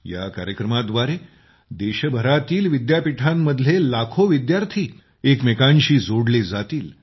या कार्यक्रमाद्वारे देशभरातील विद्यापीठांमधले लाखो विद्यार्थी एकमेकांशी जोडले जातील